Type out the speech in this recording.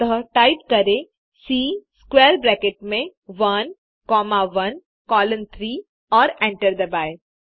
अतः टाइप करें C square bracket में 1 कॉमा 1 कोलोन 3 और एंटर दबाएँ